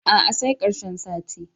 A'a sai ƙarshen sati.